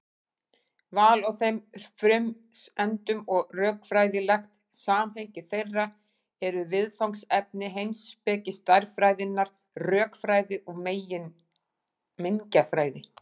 Val á þeim frumsendum og rökfræðilegt samhengi þeirra eru viðfangsefni heimspeki stærðfræðinnar, rökfræði og mengjafræði.